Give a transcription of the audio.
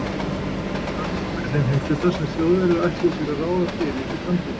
Danmörk var í þeim heimshluta, sem Þjóðverjar ætluðu sér að ráða fyrir í framtíðinni.